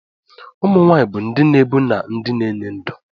Ụmụ nwanyị bụ ndị na-ebu na ndị na-enye ndụ.